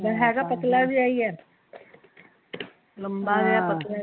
ਹੈਗਾ ਪਤਲਾ ਜਿਹਾ ਹੀਂ ਹੈ ਲੰਮਾ ਜਿਹਾ ਪਤਲਾ ਜਿਹਾ